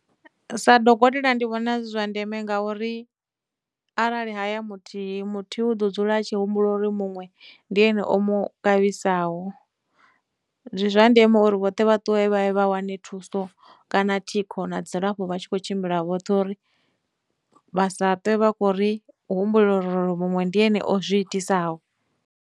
Sa dokotela ndi vhona zwi zwa ndeme ngauri arali ha ya muthihi, muthihi u ḓo dzula tshi humbula uri muṅwe ndi ene o mu kavhisaho. Ndi zwa ndeme uri vhoṱhe vha ṱuwe vha ye vha wane thuso, kana thikho na dzilafho vha tshi khou tshimbila vhoṱhe uri vha sa ṱwe vha khou ri humbulela uri muṅwe ndi ene o zwi itisaho.